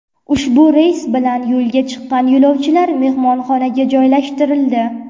Ushbu reys bilan yo‘lga chiqqan yo‘lovchilar mehmonxonaga joylashtirildi.